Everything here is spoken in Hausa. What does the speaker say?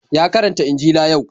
Ya karanta injila yau.